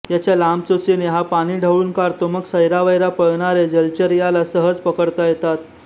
याच्या लांब चोचीने हा पाणी ढवळून काढतो मग सैरावैरा पळणारे जलचर याला सहज पकडता येतात